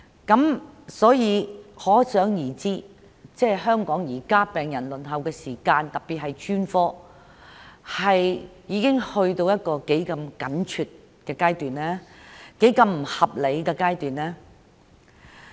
由此可知現在香港病人的輪候時間，特別是輪候專科治療，已去到一個多麼緊張和不合理的地步。